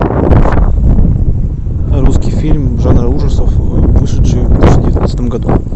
русский фильм жанра ужасов вышедший в две тысячи девятнадцатом году